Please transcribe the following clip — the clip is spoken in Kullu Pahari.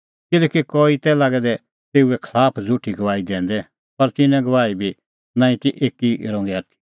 किल्हैकि कई तै लागै दै तेऊए खलाफ झ़ुठी गवाही दैंदै पर तिन्नें गवाही बी नांईं ती एकी रंगे आथी